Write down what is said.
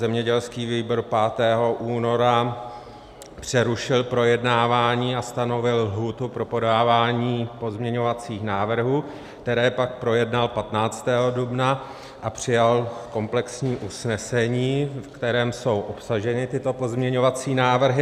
Zemědělský výbor 5. února přerušil projednávání a stanovil lhůtu pro podávání pozměňovacích návrhů, které pak projednal 15. dubna a přijal komplexní usnesení, v kterém jsou obsaženy tyto pozměňovací návrhy.